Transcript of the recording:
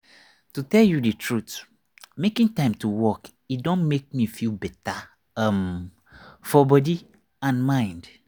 to tell you the truth making time to walk e don make me feel better um for body and mind.